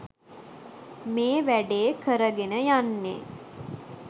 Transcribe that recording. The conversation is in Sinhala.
මේ වැඩේ කරගෙන යන්නේ